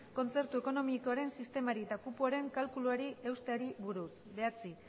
kontzertu ekonomikoaren sistemari eta kupoaren kalkuluari eusteari buruz gai zerrendako bederatzigarren